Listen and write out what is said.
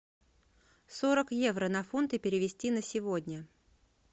сорок евро на фунты перевести на сегодня